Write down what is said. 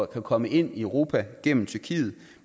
kan komme ind i europa gennem tyrkiet